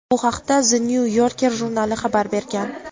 Bu haqda "The New Yorker" jurnali xabar bergan.